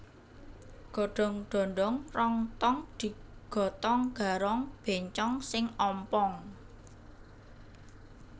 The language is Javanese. Godong dondong rong tong digotong garong bencong sing ompong